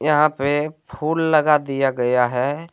यहां पे फूल लगा दिया गया है।